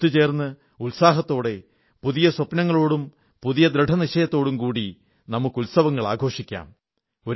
ഒത്തുചേർന്ന് ഉത്സാഹത്തോടെ പുതിയ സ്വപ്നങ്ങളോടും പുതിയ ദൃഢനിശ്ചയത്തോടും കൂടി നമുക്ക് ഉത്സവങ്ങളും ആഘോഷിക്കാം